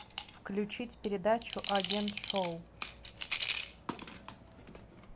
включить передачу агент шоу